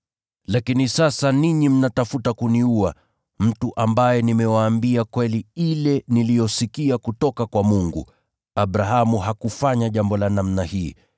Lakini sasa ninyi mnatafuta kuniua, mtu ambaye nimewaambia kweli ile niliyosikia kutoka kwa Mungu, Abrahamu hakufanya jambo la namna hii.